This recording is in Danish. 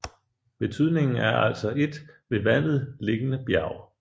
Betydningen er altså et ved vandet liggende bjerg